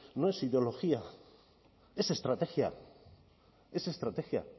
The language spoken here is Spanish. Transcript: no es ideología es estrategia es estrategia